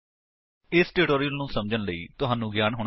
ਜੇਕਰ ਨਹੀਂ ਤਾਂ ਸਬੰਧਤ ਟਿਊਟੋਰਿਅਲ ਲਈ ਸਾਡੀ ਵੇਬਸਾਈਟ ਉੱਤੇ ਜਾਓ